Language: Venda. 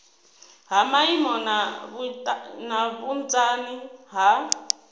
ha maimo na vhunzani ha